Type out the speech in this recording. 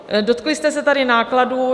Dotkli jste se tady nákladů.